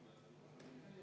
Selge.